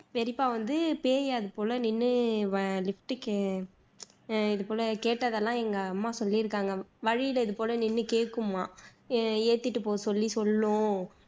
பெரியப்பா வந்து பேய் அதுபோல நின்னு வ lift கே இது போல கேட்டதெல்லாம் எங்க அம்மா சொல்லியிருக்காங்க வழியில இது போல நின்னு கேக்குமாம் ஏத்திட்டு போக சொல்லி சொல்லும்